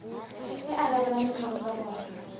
e arabelang ditlhoko tsa bona